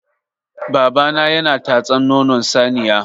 Babana yana tatsan nonon saniya.